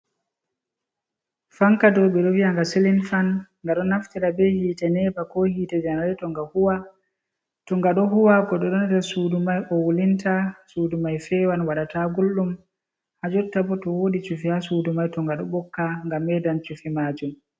Fanka ɗow beɗo viaga silim fan. Gaɗo naftira be hite nepa ko hite janarato ga huwa. To gaɗo huwa goɗɗo nɗer suɗu mai o wulinta suɗu mai fewan waɗata gulɗum. Ha jotta bo to woɗi cufi ha suɗu mai to nga ɗo bokka ga meɗan cufi majum.